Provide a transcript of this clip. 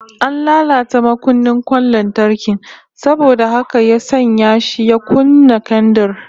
An latata makunnin kwan lantarkin saboda haka ya sanya shi ya kunna kendir